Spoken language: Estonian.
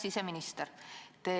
Hea siseminister!